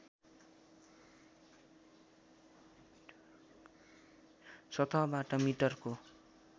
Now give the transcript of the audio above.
सतहबाट मिटरको